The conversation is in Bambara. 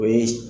O ye